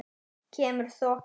Kemur þoka.